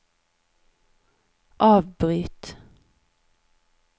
avbryt